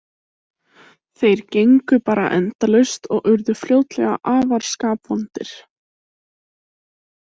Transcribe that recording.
Þeir gengu bara endalaust og urðu fljótlega afar skapvondir.